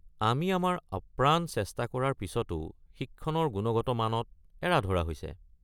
আমি আমাৰ অপ্ৰাণ চেষ্টা কৰা পিছতো শিক্ষণৰ গুণগত মানত এৰা-ধৰা হৈছে।